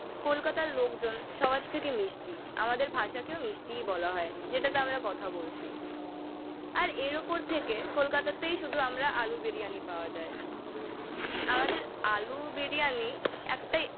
কলকাতার লোকজন সবার থেকে মিষ্টি। আমাদের ভাষাকেও মিষ্টিই বলা হয়, যেটাতে আমরা কথা বলছি। আর এর ওপর থেকে কলকাতাতেই শুধু আমরা আলু বিরিয়ানি পাওয়া যায়। আমাদের আলু বিরিয়ানি একটাই